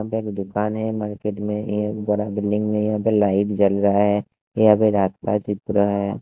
आगे एक दुकान है मार्केट में एक बड़ा बिल्डिंग भी यहां पे लाइट जल रहा है ये अभी रात का चित्र है।